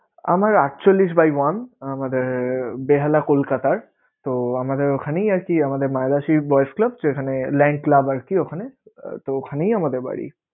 আমার আটচল্লিশ by one আমাদের বেহালা কোলকাতারতো আমাদের ওখানেই আরকি আমাদের মায়ের ভাষী যেখানে land club আরকি ওখানে, তো ওখানেই আমাদের বাড়ি